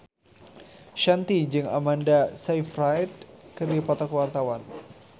Shanti jeung Amanda Sayfried keur dipoto ku wartawan